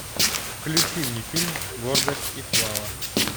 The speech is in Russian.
включи мне фильм гордость и слава